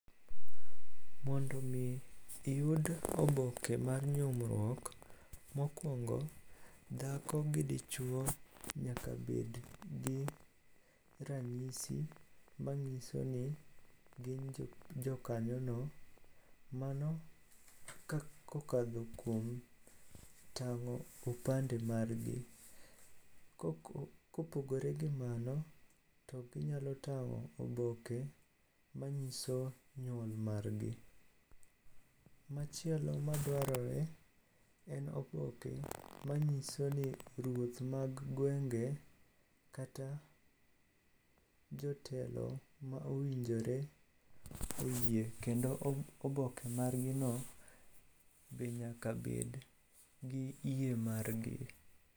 Mondo omi iyud oboke mar nyuomruok, mokwongo dhako gi dichwo nyaka bed gi ranyisi mang'iso ni gin jokanyono. Mano kokadho kuom tang'o opande margi. Kopogore gi mano to ginyalo tang'o oboke manyiso nyuol margi. Machielo madwarore en oboke manyiso ni ruoth mag gwenge kata jotelo ma owinjore oyie kendo oboke margino be nyaka bed gi yie margi.